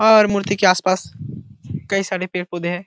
और मूर्ति के आस-पास कई सारे पेड़-पौधे हैं।